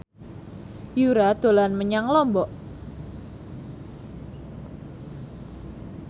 Yura dolan menyang Lombok